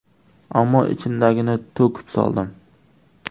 Ammo ichimdagini to‘kib soldim.